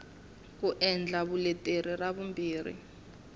ku endla vuleteri ra vumbirhi